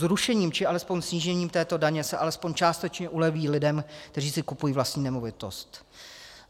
Zrušením či alespoň snížením této daně se alespoň částečně uleví lidem, kteří si kupují vlastní nemovitost.